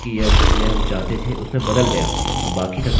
मैंने dob उपयोग किया था और यह जन्मतिथि के बराबर है जोकि ज़रूरी है